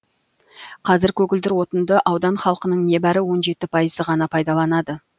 қазір көгілдір отынды аудан халқының небәрі он жеті пайызы ғана пайдаланады